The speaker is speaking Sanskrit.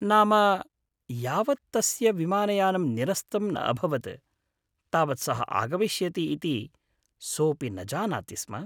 नाम, यावत् तस्य विमानयानम् निरस्तं न अभवत्, तावत् सः आगमिष्यति इति सोऽपि न जानाति स्म।